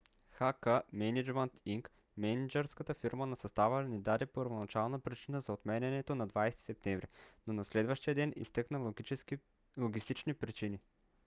х. к. мениджмънт инк мениджърската фирма на състава не даде първоначална причина за отменянето на 20 септември но на следващия ден изтъкна логистични причини